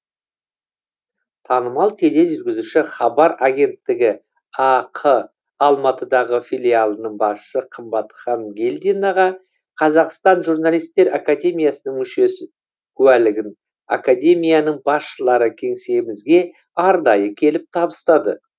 танымал тележүргізуші хабар агенттігі ақ алматыдағы филиалының басшы қымбат хангелдинаға қазақстан журналистер академиясының мүшесі куәлігін академияның басшылары кеңсемізге арнайы келіп табыстады